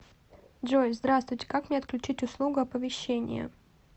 джой здравствуйте как мне отключить услугу оповещение